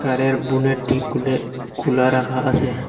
গাড়ির বুনেটটি খুলে খুলা রাখা আসে।